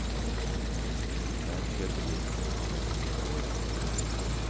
Der kjøper jeg tulipaner hele året.